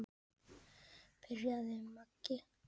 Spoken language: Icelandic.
byrjaði Maggi.